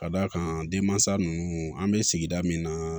Ka d'a kan denmansa ninnu an bɛ sigi min na